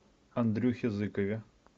андрюхе зыкове